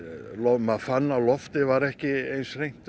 maður fann að loftið var ekki eins hreint og